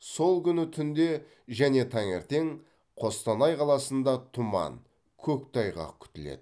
сол күні түнде және таңертең қостанай қаласында тұман көктайғақ күтіледі